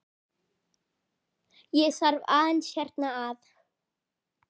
Ég þarf aðeins hérna að.